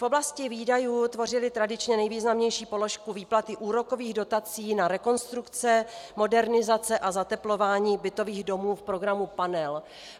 V oblasti výdajů tvořily tradičně nejvýznamnější položku výplaty úrokových dotací na rekonstrukce, modernizace a zateplování bytových domů v programu Panel.